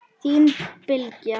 Þín Bylgja.